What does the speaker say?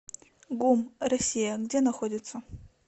гум россия где находится